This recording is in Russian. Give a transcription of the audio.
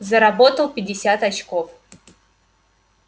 заработал пятьдесят очков